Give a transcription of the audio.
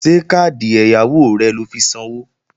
Ṣé káàdì ẹ̀yáwó rẹ lọ fi sanwó?